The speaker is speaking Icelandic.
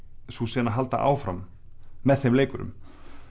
sú sena halda áfram með þeim leikurum